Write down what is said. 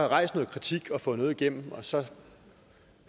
rejst noget kritik og fået noget igennem og så